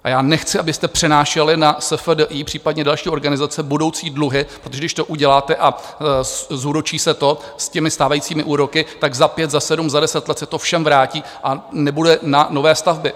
A já nechci, abyste přenášeli na SFDI, případně další organizace, budoucí dluhy, protože když to uděláte a zúročí se to s těmi stávajícími úroky, tak za pět, za sedm, za deset let se to všem vrátí a nebude na nové stavby.